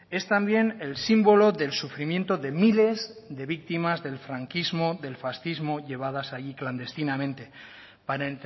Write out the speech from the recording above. es también el símbolo del sufrimiento de miles de víctimas del franquismo del fascismo llevadas allí clandestinamente para